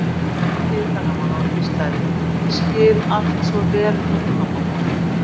Hann tæki utan um hana og hvíslaði: Ég skil allt svo vel núna, mamma mín.